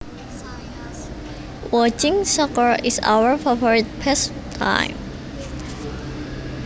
Watching soccer is our favorite pastime